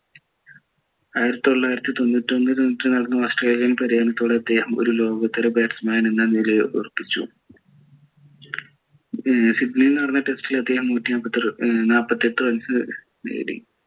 ആയിരത്തി തൊള്ളായിരത്തി തൊണ്ണൂറ്റി നടന്ന ഓസ്‌ട്രേലിയൻ പര്യടനത്തോടെ അദ്ദേഹം ഒരു ലോകോത്തര batsman എന്ന നിലയിൽ ഉറപ്പിച്ചു ഏർ സിഡ്‌നിയിൽ നടന്ന test ൽ അദ്ദേഹം നൂറ്റി നാപ്പത്തിയെട്ടു runs ഏർ നേടി